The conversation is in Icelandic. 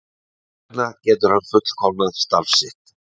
Þess vegna getur hann fullkomnað starf sitt.